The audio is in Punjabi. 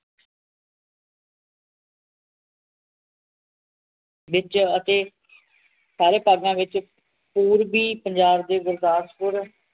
ਵਿਚ ਅਤੇ ਸਾਰੇ ਭਾਗਾਂ ਵਿਚ ਪੂਰਵੀ ਪੰਜਾਬ ਦੇ ਗੁਰਦਾਸਦਪੁਰ